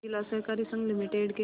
जिला सहकारी संघ लिमिटेड के